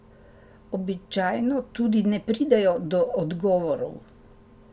Običajno tudi ne pridejo do odgovorov.